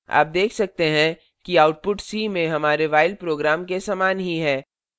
आप देख सकते हैं कि output c में हमारे while program के समान ही है